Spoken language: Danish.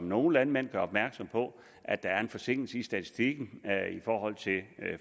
nogle landmænd opmærksom på at der er en forsinkelse i statistikken i forhold til